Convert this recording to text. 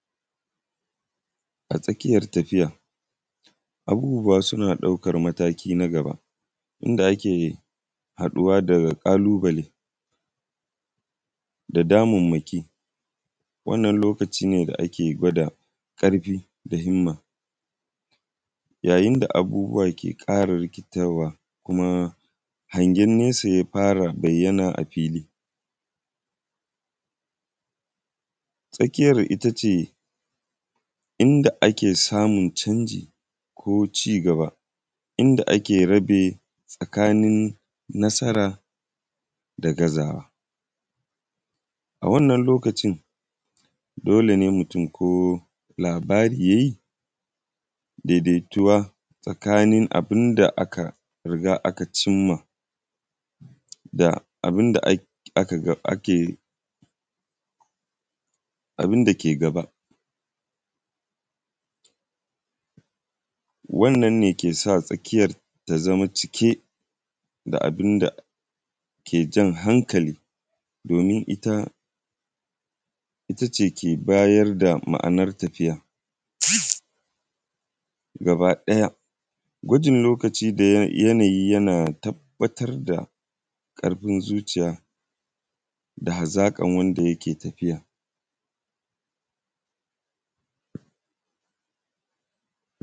a tsakiya tafiya abubuwa suna ɗaukan mataki na gaba inda suƙe haɗuwa da ƙalubale da mammaki wannan lokaci ne da ake gwada ƙarfi da himma yayin da abubuwa ke ƙara rikitarwa ƙuma hangen nisa yana afili tsakiyar itace inda a ke samun cangi ko cigaba inda ake rabe tsakanin nasara da ga zawa a wannan lokacin dola ne mutum ko labari yayi daidaitowa tsakanin abin da ya riga aka cimma da abin da aka gani ake abin da ke gaba wannan ke sa tsakiyan ya zama cike da abin da ke jan hankali domin ita itace ke bayar r da ma’anar tafiya gaba ɗaya gujin lokacin da yanayi ɓatar da kuma zuciya gaba ɗaya gujin lokacin da yanayi ɓatar da kuma zuciya